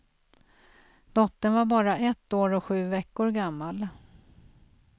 Dottern var bara ett år och sju veckor gammal.